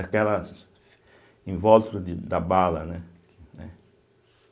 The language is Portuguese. Aquelas em volta de da bala, né?